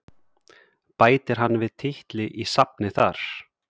Bætir hann við titli í safnið þar?